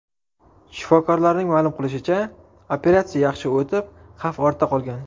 Shifokorlarning ma’lum qilishicha, operatsiya yaxshi o‘tib, xavf ortda qolgan.